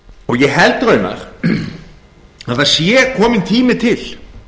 ég held raunar að það sé kominn tími til